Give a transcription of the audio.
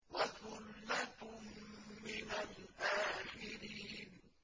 وَثُلَّةٌ مِّنَ الْآخِرِينَ